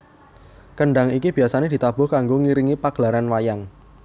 Kendhang iki biasane ditabuh kanggo ngiringi pagelaran wayang